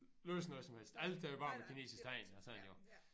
Læse noget som helst alt er jo bare med kinesiske tegn og sådan jo